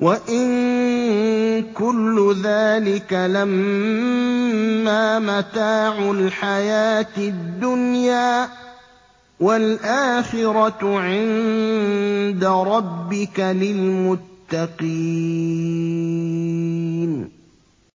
وَإِن كُلُّ ذَٰلِكَ لَمَّا مَتَاعُ الْحَيَاةِ الدُّنْيَا ۚ وَالْآخِرَةُ عِندَ رَبِّكَ لِلْمُتَّقِينَ